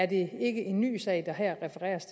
det ikke en ny sag der her refereres